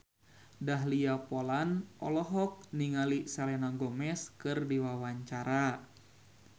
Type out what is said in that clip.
Dahlia Poland olohok ningali Selena Gomez keur diwawancara